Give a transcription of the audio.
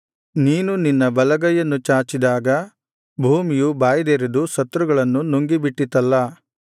ನೀನು ನಿನ್ನ ಬಲಗೈಯನ್ನು ಚಾಚಿದಾಗ ಭೂಮಿಯು ಬಾಯ್ದೆರೆದು ಶತ್ರುಗಳನ್ನು ನುಂಗಿಬಿಟ್ಟಿತಲ್ಲಾ